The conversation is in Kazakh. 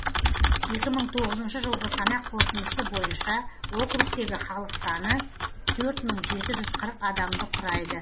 екі мың тоғызыншы жылғы санақ қорытындысы бойынша округтегі халық саны төрт мың жеті жүз қырық адамды құрайды